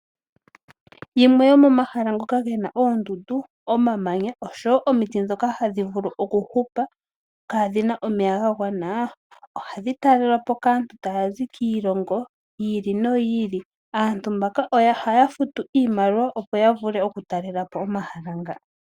Yimwe yo momahala ngoka gena oondundu, omamanya oshowo omiti ndhoka hadhi vulu okuhupa kaadhina omeya ga gwana ohadhi talelwapo kaantu tayazi kiilongo yi ili noyi ili . Aantu mbaka ohaya futu iimaliwa opo yavule oku talelapo omahala nga.